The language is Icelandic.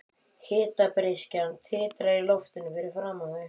Hitabreyskjan titrar í loftinu fyrir framan þau.